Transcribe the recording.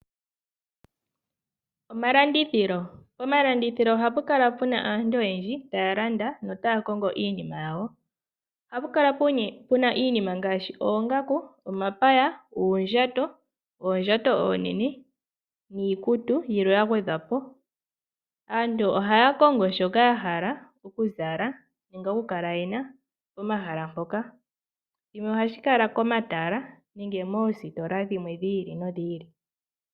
Omalandithilo. Pomalandithilo ohapu kala puna aantu oyendji taya landa notaya kongo iinima yawo . Ohapu kala pena iinima ngaashi oongaku ,omapaya ,uundjato ,oondjato oonene niikutu yilwe ya gwedhwapo. Aantu ohaya kongo shoka ya hala okuzala nenge okukala yena pomahala mpoka. Shino ohashi kala komatala nenge moositola dhimwe dhi ili nodhi ili.